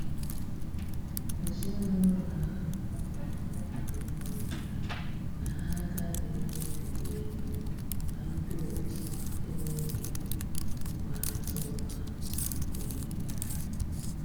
Ezinúlọ̀ ahụ̀ um kwekọrịtara na ha agàghị ebiri égò ma ndị otu ènwèghị mkpárịtà ụ́kà na nkwènyé